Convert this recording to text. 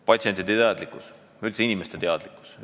Patsientide teadlikkus ja üldse inimeste teadlikkus.